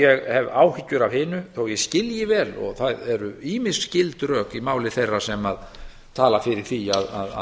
ég hef áhyggjur af hinu þó ég skilji vel og það eru ýmis gild rök í máli þeirra sem tala fyrir því